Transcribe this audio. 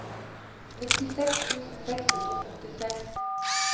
nittiseks tusen seks hundre og førtiseks